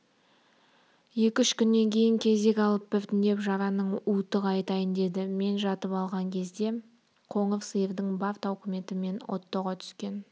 екі-үш күннен кейін кезек алып біртіндеп жараның уыты қайтайын деді мен жатып қалған кезде қоңыр сиырдың бар тауқыметі мен оттоға түскен